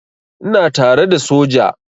Ina tare da soja.